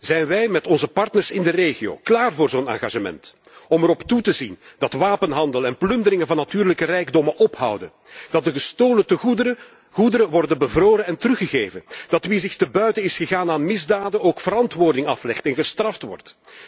Zijn wij met onze partners in de regio klaar voor zo'n engagement om erop toe te zien dat wapenhandel en plunderingen van natuurlijke rijkdommen ophouden, dat de gestolen goederen worden bevroren en teruggegeven, en dat wie zich te buiten is gegaan aan misdaden ook verantwoording aflegt en gestraft wordt?